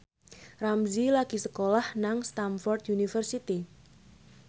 Ramzy lagi sekolah nang Stamford University